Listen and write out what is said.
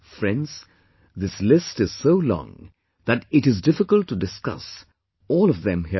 Friends, this list is so long that it is difficult to discuss all of them here